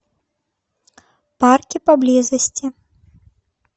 парки поблизости